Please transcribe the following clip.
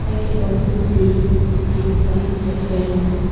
I can also see a tubelight a fan --